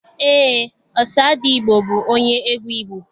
Eé, Ọsadebe bụ onye egwu Igbo.